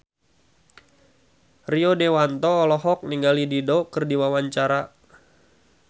Rio Dewanto olohok ningali Dido keur diwawancara